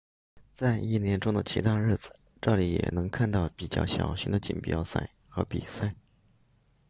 在一年中的其他日子这里也能看到比较小型的锦标赛和比赛